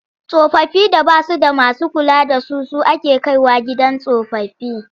Tsofaffin da ba su da masu kula da su su ake kai wa gidan tsofaffi.